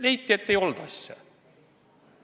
Leiti, et ei olnud asja.